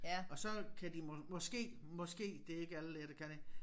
Og så kan de måske måske det ikke alle læger der kan det